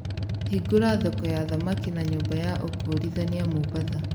Hingũra thoko ya thamaki na nyumba ya ũkũũrithania Mombasa